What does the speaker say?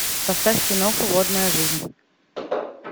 поставь киноху водная жизнь